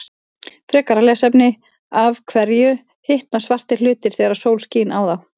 Frekara lesefni: Af hverju hitna svartir hlutir þegar sól skín á þá?